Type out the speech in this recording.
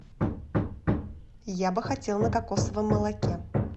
я бы хотел на кокосовом молоке